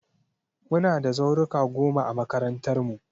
Muna da zauruka goma a makarantarmu.